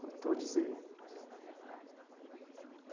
Faltou dizer?